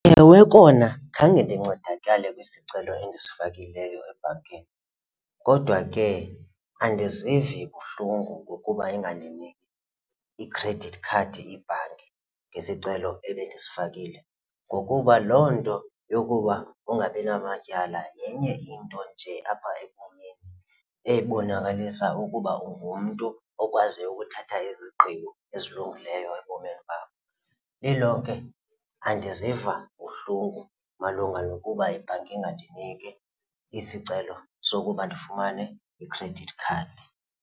Ewe, kona khange ndincedakale kwisicelo endisifakileyo ebhankini kodwa ke andizivi buhlungu ngokuba ingandiniki i-credit card ibhanki ngesicelo ebendisifakile ngokuba loo nto yokuba ungabi namatyala yenye into nje apha ebomini ebonakalisa ukuba ungumntu okwaziyo ukuthatha izigqibo ezilungileyo ebomini bakho. Lilonke andiziva buhlungu malunga nokuba ibhanki ingandiniki isicelo sokuba ndifumane i-credit card yiva.